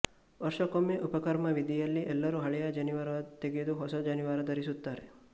ವರ್ಷಕ್ಕೊಮ್ಮೆ ಉಪಾಕರ್ಮ ವಿಧಿಯಲ್ಲಿ ಎಲ್ಲರೂ ಹಳೆಯ ಜನಿವಾರ ತೆಗೆದು ಹೊಸ ಜನಿವಾರ ಧರಿಸುತ್ತಾರೆ